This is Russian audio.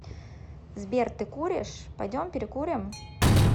сбер ты куришь пойдем перекурим